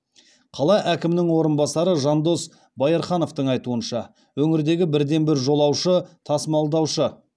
қала әкімінің орынбасары жандос баирхановтың айтуынша өңірдегі бірден бір жолаушы тасмалдаушы